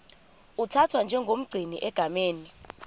uthathwa njengomgcini egameni